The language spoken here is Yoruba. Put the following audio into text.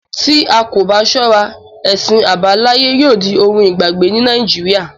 Tí a kò bá ṣọ́ra, ẹ̀sìn àbáláyé yóò di ohun ìgbàgbé ní nàìjíría.